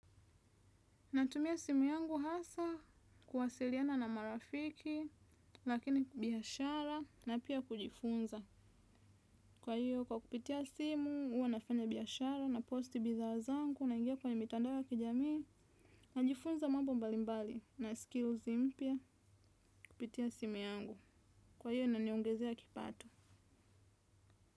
Natumia simu yangu hasa, kuwasiliana na marafiki, lakini biashara, na pia kujifunza. Kwa hiyo, kwa kupitia simu, huwa nafanya biashara, naposti bidhaa zangu, naingia kwenye mitandao ya kijamii, najifunza mambo mbalimbali, na skills mpya, kupitia simu yangu. Kwa hiyo, inaniongezea kipato.